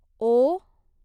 ओ